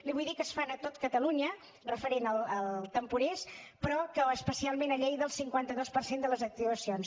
li vull dir que se’n fan a tot catalunya referent als temporers però especialment a lleida el cinquanta dos per cent de les actuacions